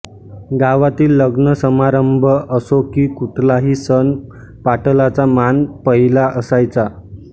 गावातील लग्नसमारंभ असो की कुठलाही सण पाटलाचा मान पहिला असायचा